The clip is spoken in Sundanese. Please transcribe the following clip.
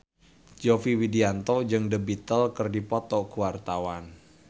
Yovie Widianto jeung The Beatles keur dipoto ku wartawan